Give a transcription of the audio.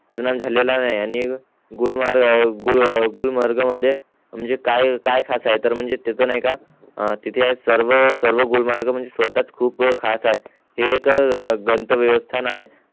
झालेला नाय आणि गुलमर्ग गुलमर्ग मध्ये म्हणजे काय खास आहे तर म्हणजे त्याच नाय नागुलमर्ग सर्व सर्व म्हणजे स्वतः खास आहे हे एक दंत व्यवस्थां आहे